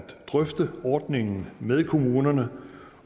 drøfte ordningen med kommunerne